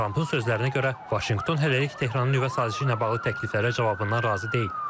Trampın sözlərinə görə, Vaşinqton hələlik Tehranın nüvə sazişi ilə bağlı təkliflərə cavabından razı deyil.